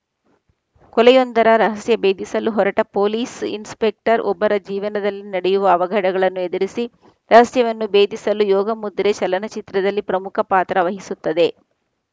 ಕೊಲೆಯೊಂದರ ರಹಸ್ಯ ಭೇದಿಸಲು ಹೊರಟ ಪೊಲೀಸ್‌ ಇನ್ಸ್‌ಪೆಕ್ಟರ್‌ ಒಬ್ಬರ ಜೀವನದಲ್ಲಿ ನಡೆಯುವ ಅವಘಡಗಳನ್ನು ಎದುರಿಸಿ ರಹಸ್ಯವನ್ನು ಭೇದಿಸಲು ಯೋಗಮುದ್ರೆ ಚಲನಚಿತ್ರದಲ್ಲಿ ಪ್ರಮುಖ ಪಾತ್ರ ವಹಿಸುತ್ತದೆ